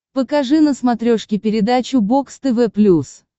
покажи на смотрешке передачу бокс тв плюс